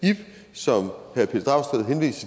så